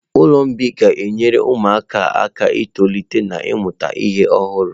Ụlọ mgbei ga-enyere ụmụaka aka itolite na ịmụta ihe ọhụrụ.